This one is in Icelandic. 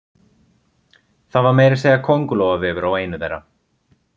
Það var meira að segja kóngulóarvefur á einu þeirra.